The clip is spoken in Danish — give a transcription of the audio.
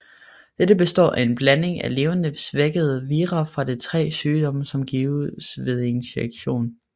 Det består af en blanding af levende svækkede vira fra de tre sygdomme som gives ved injektion